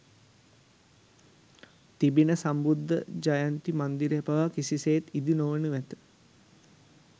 තිබෙන සම්බුද්ධත්ව ජයන්ති මන්දිරය පවා කිසිසේත් ඉදිනොවනු ඇත